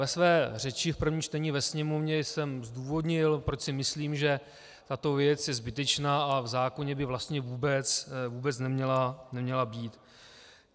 Ve své řeči v prvním čtení ve sněmovně jsem zdůvodnil, proč si myslím, že tato věc je zbytečná a v zákoně by vlastně vůbec neměla být.